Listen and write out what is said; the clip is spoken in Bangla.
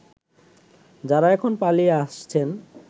যারা এখন পালিয়ে আসছেন